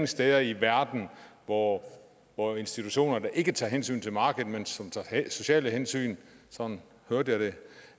steder i verden hvor hvor institutioner der ikke tager hensyn til markedet men som tager sociale hensyn sådan hørte